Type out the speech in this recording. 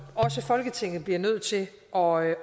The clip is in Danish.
også folketinget bliver nødt til at overveje